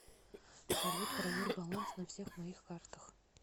салют проверь баланс на всех моих картах